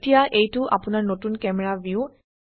এতিয়া এইটো আপোনাৰ নতুন ক্যামেৰা ভিউ